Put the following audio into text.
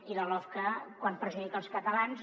i la lofca quan perjudica els catalans